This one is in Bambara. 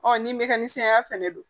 nin bɛ kɛ ni sayaya fana don